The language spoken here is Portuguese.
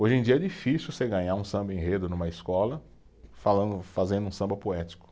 Hoje em dia é difícil você ganhar um samba enredo numa escola falando, fazendo um samba poético.